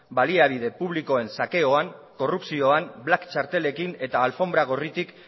baliabide publikoen sakeoan korrupzioan black txartelekin eta alfonbra gorritik